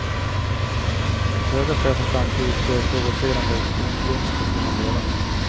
Att höga chefer samtidigt gör provocerande optionsvinster får man leva med.